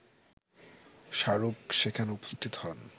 শাহরুখ সেখানে উপস্থিত হন